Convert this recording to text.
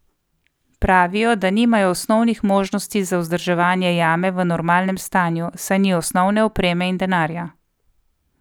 Pravijo, da nimajo osnovnih možnosti za vzdrževanje jame v normalnem stanju, saj ni osnovne opreme in denarja.